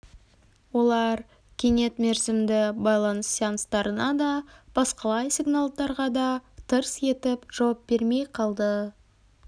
олар кенет мерзімді байланыс сеанстарына да басқалай сигналдарға да тырс етіп жауап бермей қалды